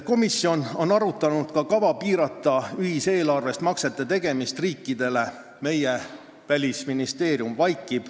Komisjon on arutanud ka kava piirata ühiseelarvest riikidele maksete tegemist.